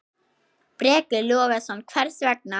Breki Logason: Hvers vegna?